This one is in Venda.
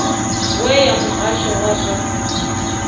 we ya muhasho wa zwa